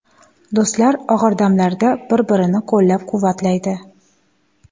Do‘stlar og‘ir damlarda bir-birini qo‘llab-quvvatlaydi.